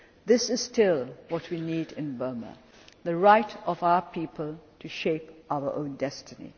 This is still what we need in Burma the right of our people to shape our own